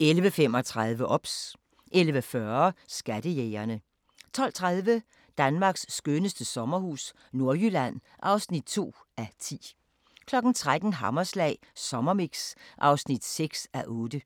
11:35: OBS 11:40: Skattejægerne 12:30: Danmarks skønneste sommerhus – Nordjylland (2:10) 13:00: Hammerslag Sommermix (6:8)